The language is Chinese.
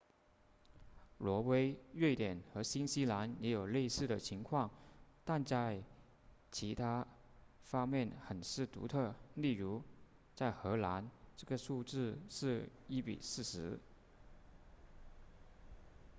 挪威瑞典和新西兰也有类似的情况但在其他方面很是独特例如在荷兰这个数字是一比四十